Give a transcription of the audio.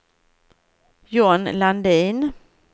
John Landin